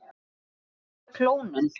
Hvernig virkar klónun?